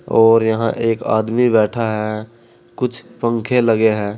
और यहां एक आदमी बैठा है कुछ पंखे लगे हैं।